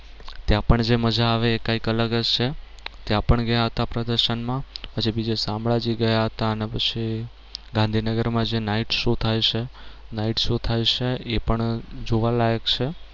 ત્યાં પણ જે મજા આવે એ કઈક અલગ જ છે. ત્યાં પણ ગયા હતા પ્રદર્શન માં. પછી બીજે શામળાજી ગયા હતા અને પછી ગાંધીનગર માં જે night show થાય છે night show થાય છે એ જોવાલાયક છે.